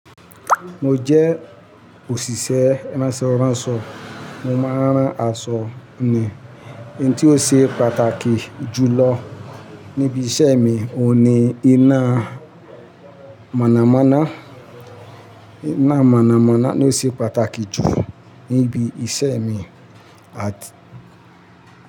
Mo jẹ́ òṣìṣẹ́ ránṣọránṣọ, mo máa ń rán aṣọ ni. Ohun ti ó ṣe pàtàkì jù lọ níbi iṣẹ́ mi oun ni iná mọ̀nàmọ́ná, iná mọ̀nàmọ́ná ló ṣe pàtàkì jù níbi iṣẹ́ mi.